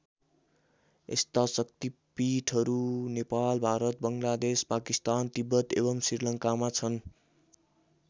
यस्ता शक्तिपीठहरू नेपाल भारत बङ्गलादेश पाकिस्तान तिब्बत एवम् श्रीलङ्कामा छन्।